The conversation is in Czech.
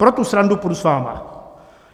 Pro tu srandu půjdu s vámi.